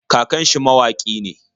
Kakan shi mawaƙi ne.